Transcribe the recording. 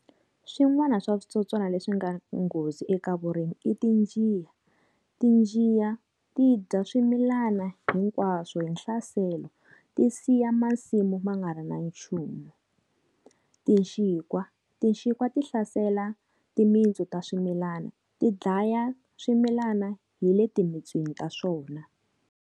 Swin'wana swa switsotswana leswi nga nghozi eka vurimi i tinjiya. Tinjiya ti dya swimilana hinkwaswo hi nhlaselo ti siya masimu va nga ri na nchumu. Tinxikwa, Tinxikwa ti hlasela timitsu ta swimilana, ti dlaya swimilana hi le timitsweni ta swona.